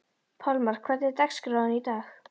Pálmar, hvernig er dagskráin í dag?